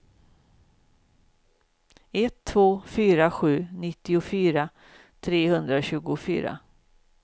ett två fyra sju nittiofyra trehundratjugofyra